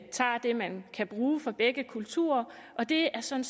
tager det man kan bruge fra begge kulturer og det er sådan